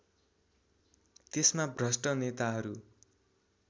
त्यसमा भ्रष्ट नेताहरू